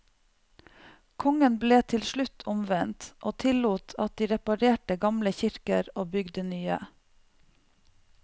Kongen ble til slutt omvendt, og tillot at de reparerte gamle kirker og bygde nye.